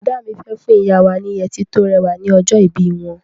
Bọ̀dá mi fẹ́ fún ìyá wa ni yẹtí tó rẹwà ní ọjọ́ ìbí wọn.